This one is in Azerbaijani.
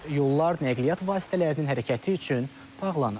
Yollar nəqliyyat vasitələrinin hərəkəti üçün bağlanıb.